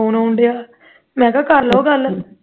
phone ਆਉਂਣ ਡਆ ਮੈਂ ਕਿਹਾ ਕਰ ਲਓ ਗੱਲ